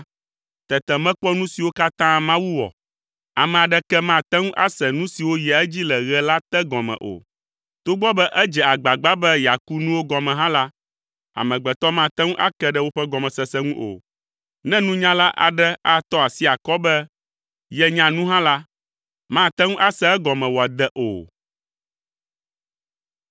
tete mekpɔ nu siwo katã Mawu wɔ. Ame aɖeke mate ŋu ase nu siwo yia edzi le ɣe la te gɔme o. Togbɔ be edze agbagba be yeaku nuwo gɔme hã la, amegbetɔ mate ŋu ake ɖe woƒe gɔmesese ŋu o. Ne nunyala aɖe atɔ asi akɔ be yenya nu hã la, mate ŋu ase egɔme wòade o.